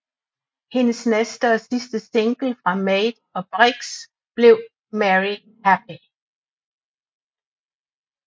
Hendes næste og sidste single fra Made og Bricks blev Merry Happy